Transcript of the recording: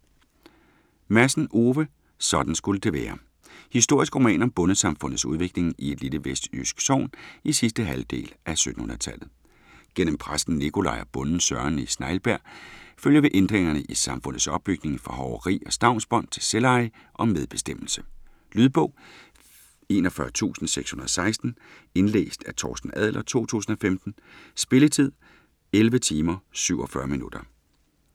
Madsen, Ove: Sådan skulle det være Historisk roman om bondesamfundets udvikling i et lille vestjysk sogn i sidste halvdel af 1700-tallet. Gennem præsten Nicolaj og bonden Søren i Snejbjerg følger vi ændringerne i samfundets opbygning fra hoveri og stavnsbånd til selveje og medbestemmelse. Lydbog 41616 Indlæst af Torsten Adler, 2015. Spilletid: 11 timer, 47 minutter.